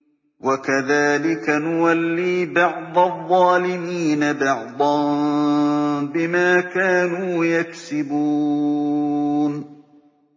وَكَذَٰلِكَ نُوَلِّي بَعْضَ الظَّالِمِينَ بَعْضًا بِمَا كَانُوا يَكْسِبُونَ